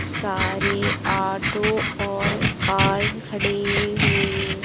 सारे ऑटो और कार खड़े हुए--